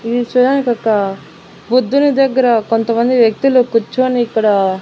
ఇది చూడడానికి ఒక బుద్ధుని దగ్గర కొంతమంది వ్యక్తులు కూర్చుని ఇక్కడ.